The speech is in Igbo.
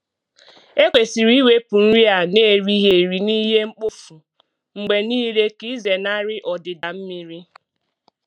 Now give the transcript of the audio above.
Ekwesịrị iwepụ nri a n’erighị eri na ihe mkpofu mgbe niile ka ịzenarị ọdịda mmiri.